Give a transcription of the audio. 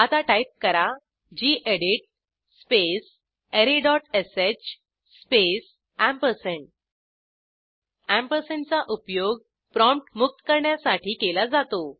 आता टाईप करा gedit space arrayश स्पेस अँपरसँडचा उपयोग प्रॉम्प्ट मुक्त करण्यासाठी केला जातो